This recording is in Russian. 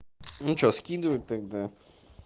ну что скидывать тогда